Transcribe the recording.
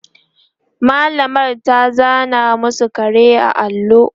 mallamar ta zana masu kare a allo